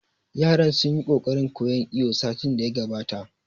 Yaran sun yi ƙoƙarin koyan iwo satin da ya gabata